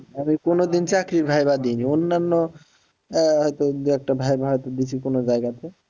আমি কোন দিন চাকরির viva দি নি অন্যান্য আহ হয়তো দু একটা viva হয়তো দিছি কোন জায়গাতে